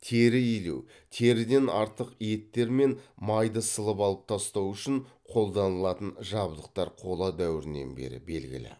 тері илеу теріден артық еттер мен майды сылып алып тастау үшін қолданылатын жабдықтар қола дәуірінен бері белгілі